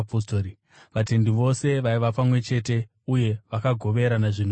Vatendi vose vaiva pamwe chete uye vakagoverana zvinhu zvose.